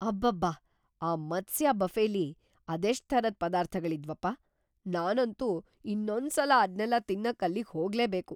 ಅಬ್ಬಬ್ಬಾ! ಆ ಮತ್ಸ್ಯ ಬಫೆಲಿ ಅದೆಷ್ಟ್ ಥರದ್ ಪದಾರ್ಥಗಳಿದ್ವಪ್ಪ! ನಾನಂತೂ‌ ಇನ್ನೊಂದ್ಸಲ ಅದ್ನೆಲ್ಲ ತಿನ್ನಕ್ ಅಲ್ಲಿಗ್ ಹೋಗ್ಲೇಬೇಕು.